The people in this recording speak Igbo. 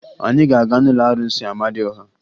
Anyị ga-aga n'ụlọ arụsị Amadịọha